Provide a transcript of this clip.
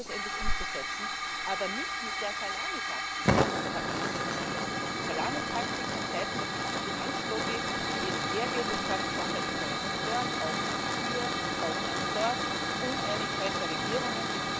Es ist Zeit, das endlich umzusetzen, aber nicht mit der Salamitaktik, die jetzt da angesetzt wird, eine Salamitaktik von Seiten der Finanzlobby, die jetzt hergeht und sagt Sonderinteresse dort, Ausnahme hier, Ausnahme dort, Uneinigkeit der Regierungen.